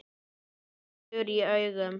Saltur í augum.